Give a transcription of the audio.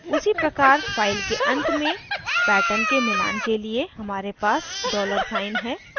उसी प्रकार file के अंत में pattern के मिलान के लिए हमारे पास dollar साइन है